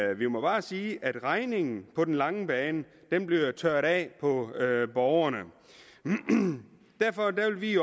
vi må bare sige at regningen på den lange bane bliver tørret af på borgerne derfor vil vi